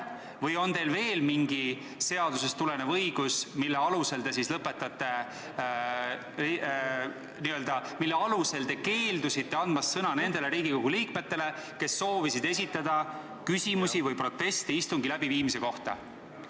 Või on teil veel mõni seadusest tulenev õigus, mille alusel te keeldusite andmast sõna nendele Riigikogule liikmetele, kes soovisid esitada küsimusi või proteste istungi läbiviimise kohta?